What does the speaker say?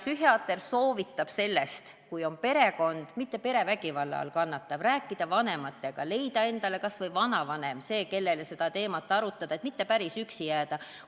Psühhiaater soovitab neil rääkida vanematega, juhul kui perekond on olemas – aga mitte perevägivalla korral –, leida endale see, kellega teemat arutada, kas või vanavanem, et mitte päris üksi jääda.